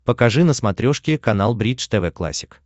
покажи на смотрешке канал бридж тв классик